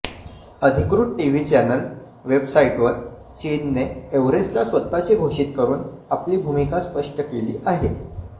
अधिकृत TV channel वेबसाइटवर चीनने एव्हरेस्टला स्वतःचे घोषित करून आपली भूमिका स्पष्ट केली आहे